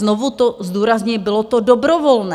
Znovu to zdůrazňuji, bylo to dobrovolné!